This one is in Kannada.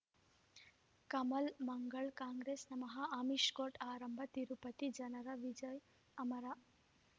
ಕಮಲ್ ಮಂಗಳ್ ಕಾಂಗ್ರೆಸ್ ನಮಃ ಅಮಿಷ್ ಕೋರ್ಟ್ ಆರಂಭ ತಿರುಪತಿ ಜನರ ವಿಜಯ ಅಮರ